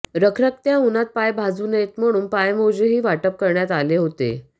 रखरखत्या उन्हात पाय भाजू नयेत म्हणून पायमोजेही वाटप करण्यात आले होते